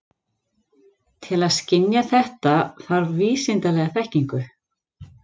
Til að skynja þetta þarf vísindalega þekkingu.